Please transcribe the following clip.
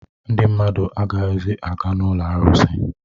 Ndị mmadụ agaghịzi aga n'ụlọ arụsị